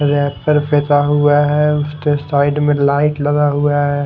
Wrapper फेंका हुआ है उसके साइड में लाइट लगा हुआ है।